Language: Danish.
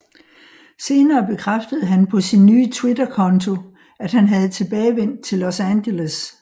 Senere bekræftede han på sin nye Twitter konto at han havde tilbagevendt til Los Angeles